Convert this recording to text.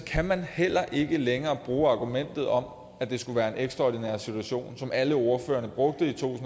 kan man heller ikke længere bruge argumentet om at det skulle være en ekstraordinær situation som alle ordførerne brugte i to